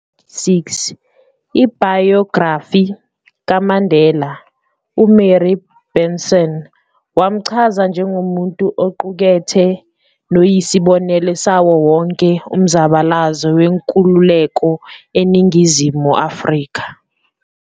Ngonyaka ka 1986, ibhayografa kaMandela uMary Benson, wamchaza njengomuntu oqukethe noyisibonelo sawo wonke umzabalazo wenkululeko eNingizimu Afrika.